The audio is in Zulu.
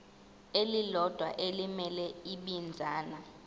elilodwa elimele ibinzana